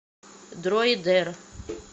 дроидер